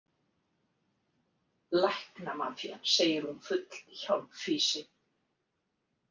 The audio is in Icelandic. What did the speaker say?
Læknamafían, segir hún full hjálpfýsi.